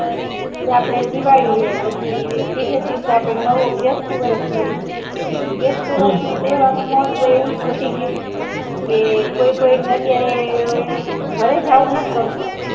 આપણે દિવાળી હ પછી બીજા દિવસ આપણે નવો બેશતું વરશ કરીયે હ બેશતું વરશ નું તહેવાર મહત્વ એવુજ ઘટી ગયું કે કોઈ કોઈ અત્યારે ઘરે જઉ નત ગમતું